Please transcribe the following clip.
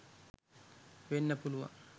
වෙන්න පුළුවන්.